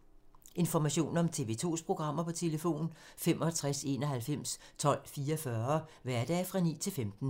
Information om TV 2's programmer: 65 91 12 44, hverdage 9-15.